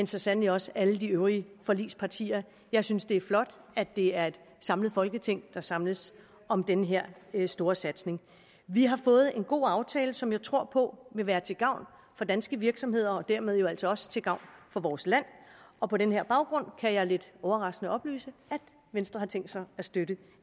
så sandelig også alle de øvrige forligspartier jeg synes det er flot at det er et samlet folketing der samles om den her her store satsning vi har fået en god aftale som jeg tror på vil være til gavn for danske virksomheder og dermed jo altså også til gavn for vores land og på den her baggrund kan jeg lidt overraskende oplyse at venstre har tænkt sig at støtte